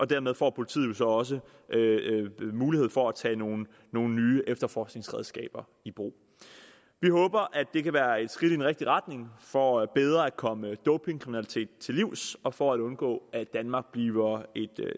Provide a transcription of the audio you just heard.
dermed får politiet jo så også mulighed for at tage nogle nogle nye efterforskningsredskaber i brug vi håber at det kan være et skridt i den rigtige retning for bedre at komme dopingkriminaliteten til livs og for at undgå at danmark bliver et